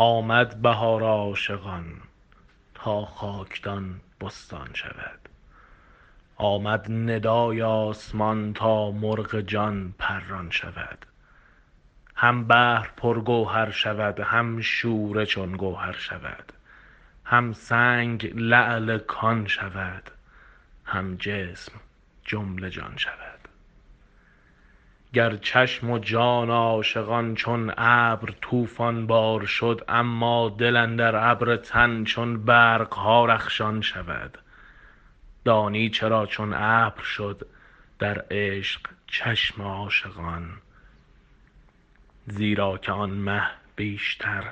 آمد بهار عاشقان تا خاکدان بستان شود آمد ندای آسمان تا مرغ جان پران شود هم بحر پرگوهر شود هم شوره چون کوثر شود هم سنگ لعل کان شود هم جسم جمله جان شود گر چشم و جان عاشقان چون ابر طوفان بار شد اما دل اندر ابر تن چون برق ها رخشان شود دانی چرا چون ابر شد در عشق چشم عاشقان زیرا که آن مه بیشتر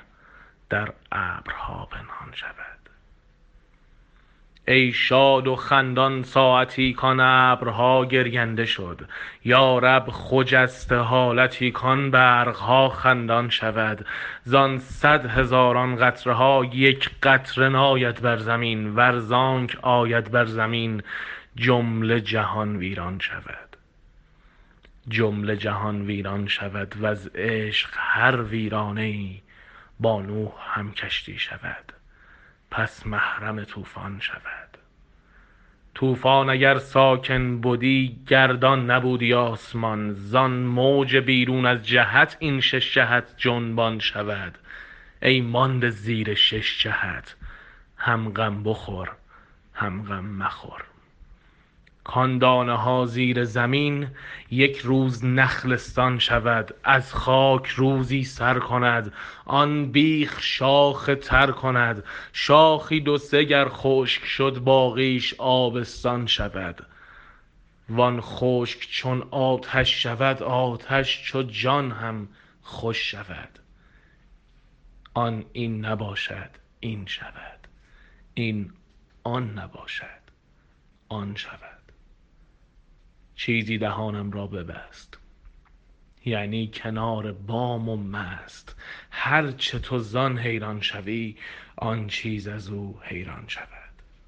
در ابرها پنهان شود ای شاد و خندان ساعتی کان ابرها گرینده شد یا رب خجسته حالتی کان برق ها خندان شود زان صد هزاران قطره ها یک قطره ناید بر زمین ور زانک آید بر زمین جمله جهان ویران شود جمله جهان ویران شود وز عشق هر ویرانه ای با نوح هم کشتی شود پس محرم طوفان شود طوفان اگر ساکن بدی گردان نبودی آسمان زان موج بیرون از جهت این شش جهت جنبان شود ای مانده زیر شش جهت هم غم بخور هم غم مخور کان دانه ها زیر زمین یک روز نخلستان شود از خاک روزی سر کند آن بیخ شاخ تر کند شاخی دو سه گر خشک شد باقیش آبستان شود وان خشک چون آتش شود آتش چو جان هم خوش شود آن این نباشد این شود این آن نباشد آن شود چیزی دهانم را ببست یعنی کنار بام و مست هر چه تو زان حیران شوی آن چیز از او حیران شود